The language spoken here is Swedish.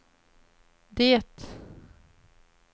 det